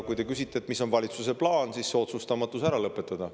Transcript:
Kui te küsite, mis on valitsuse plaan, siis plaan on see, et otsustamatus tuleb ära lõpetada.